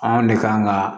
Anw ne kan ka